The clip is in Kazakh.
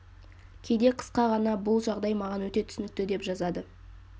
кейде қысқа ғана бұл жағдай маған өте түсінікті деп жазады